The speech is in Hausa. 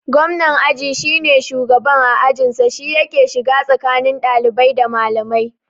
Gwamnan aji shine shugaban a ajin sa, shi yake shiga tsakani ɗalibai da malamai